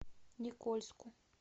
никольску